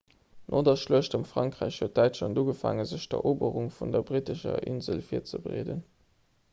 no der schluecht ëm frankräich huet däitschland ugefaangen sech op d'eroberung vun der brittescher insel virzebereeden